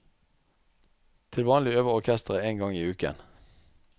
Til vanlig øver orkesteret én gang i uken.